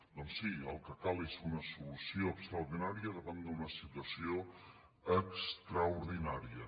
doncs sí el que cal és una solució extraordinària davant d’una situació extraordinària